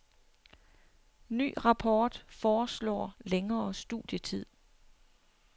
Ny rapport foreslår længere studietid.